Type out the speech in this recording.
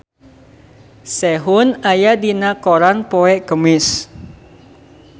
Sehun aya dina koran poe Kemis